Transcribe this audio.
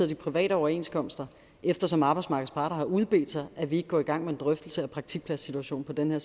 de private overenskomster eftersom at arbejdsmarkedets parter har udbedt sig at vi ikke går i gang med en drøftelse af praktikpladssituationen på denne